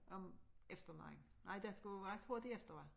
Om eftermiddagen nej der skulle jeg tror det efter var